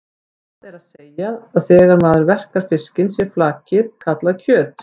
Það er að segja að þegar maður verkar fiskinn sé flakið kallað kjöt.